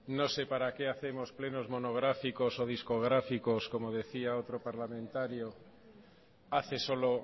no sé para qué hacemos plenos monográficos y discográficos como decía otro parlamentario hace solo